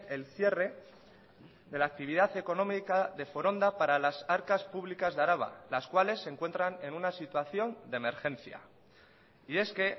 el cierre de la actividad económica de foronda para las arcas públicas de araba las cuales se encuentran en una situación de emergencia y es que